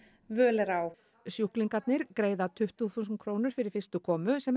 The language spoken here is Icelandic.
völ er á sjúklingarnir greiða tuttugu þúsund krónur fyrir fyrstu komu sem er